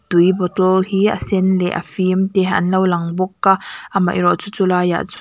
tui bottle hi a sen leh a fim te an lo lang bawk a amaherawhchu chu laiah chua --